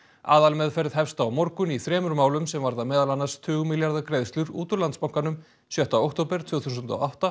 aðalmeðferð hefst á morgun í þremur málum sem varða meðal annars tugmilljarða greiðslur út úr Landsbankanum sjötta október tvö þúsund og átta